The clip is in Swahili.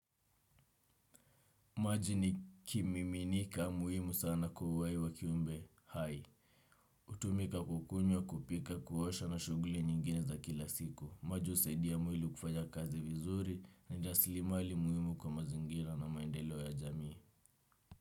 Maji ni kimiminika muhimu sana kwa uhai wa kiumbe hai. Hutumika kukunywa kupika kuosha na shughuli nyingine za kila siku. Maji husaidia mwili kufanya kazi vizuri ni rasilimali muhimu kwa mazingira na maendelo ya jamii.